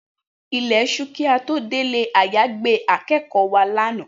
Ilẹ̀ ti ṣú kí a tó dé ilé-àyágbé akẹ́kọ̀ọ́ wa lánàá